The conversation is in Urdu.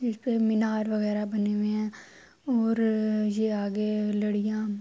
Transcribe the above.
قطب مینار وگیرہ بنے ہے اور یہ آگے لڈیا--